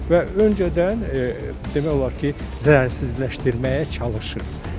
Və öncədən demək olar ki, zərərsizləşdirməyə çalışır.